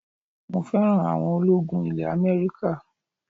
mo fẹ́ràn awọn ológun ilẹ̀ America